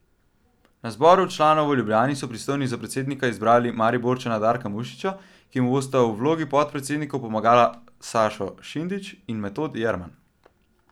Na zboru članov v Ljubljani so pristojni za predsednika izbrali Mariborčana Darka Mušiča, ki mu bosta v vlogi podpredsednikov pomagala Sašo Šindič in Metod Jerman.